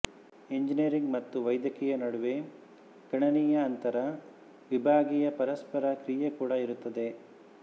engineering ಮತ್ತು ವೈದ್ಯಕೀಯ ನಡುವೆ ಗಣನೀಯ ಅಂತರವಿಭಾಗೀಯ ಪರಸ್ಪರ ಕ್ರಿಯೆ ಕೂಡ ಇರುತ್ತದೆ